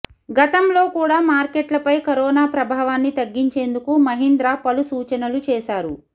గతంలో కూడా మార్కెట్లపై కరోనా ప్రభావాన్ని తగ్గించేందుకు మహీంద్రా పలు సూచనలు చేశారు